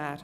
Aber